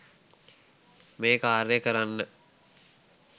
මේ කාර්යය කරන්න